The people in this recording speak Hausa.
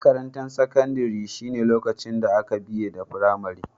Makarantan sakandare shine lokacin da ka biye da firamari.